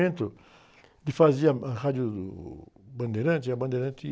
ele fazia a rádio Bandeirantes e a Bandeirantes...